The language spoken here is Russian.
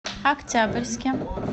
октябрьске